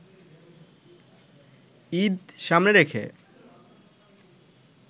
ঈদ সামনে রেখে